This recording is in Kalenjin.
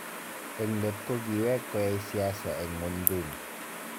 En leet kogiweek koyaai siasi en mgwonduni.